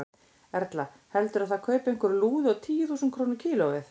Erla: Heldurðu að það kaupi einhver lúðu á tíu þúsund krónur kílóið?